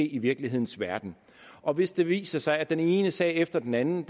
i virkelighedens verden og hvis det viser sig at den ene sag efter den anden